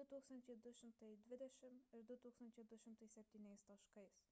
2220 ir 2207 taškais